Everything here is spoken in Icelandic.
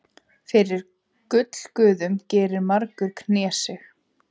Fyrir gullguðum gerir margur knésig.